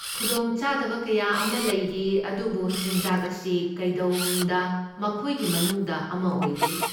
ꯈꯨꯗꯣꯡꯆꯥꯗꯕ ꯀꯌꯥ ꯑꯃ ꯂꯩꯔꯤ ꯑꯗꯨꯕꯨ ꯆꯤꯟꯖꯥꯛ ꯑꯁꯤ ꯀꯩꯗꯧꯅꯨꯡꯗ ꯃꯈꯣꯏꯒꯤ ꯃꯅꯨꯡꯗ ꯑꯃ ꯑꯣꯏꯗꯦ!